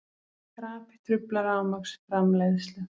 Krapi truflar rafmagnsframleiðslu